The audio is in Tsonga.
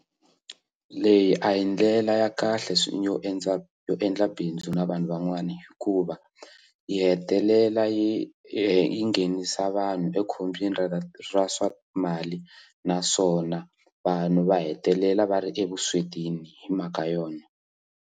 Leyi a hi ndlela ya kahle yo endla yo endla bindzu na vanhu van'wana hikuva yi hetelela yi yi nghenisa vanhu ekhombyeni ra ra swa mali naswona vanhu va hetelela va ri evuswetini hi mhaka yona.